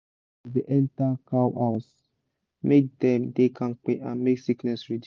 air supppose da enter cow house make dem da kampe and make sickness reduce